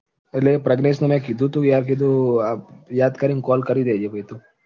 એટલે પ્રજ્ઞેશને મેં કીધું તું કે યાર કીધું તું કે યાદ કરીને call કરી દેજે ભઈ તું